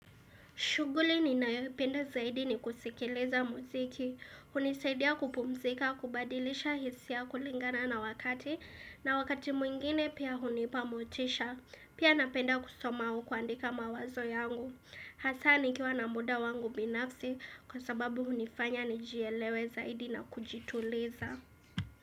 Shughuli ninayopenda zaidi ni kusikiliza muziki. Hunisaidia kupumzika, kubadilisha hisia kulingana na wakati. Na wakati mwingine pia hunipa motisha. Pia napenda kusoma au kuandika mawazo yangu. Hasa nikiwa na muda wangu binafsi kwa sababu hunifanya nijielewe zaidi na kujituleza.